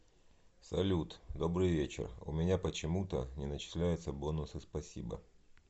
салют добрый вечер у меня почему то не начисляются бонусы спасибо